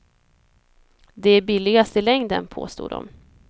De är billigast i längden, påstod de.